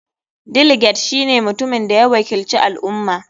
Delegate shine mutumin da ya wakilci al ummah.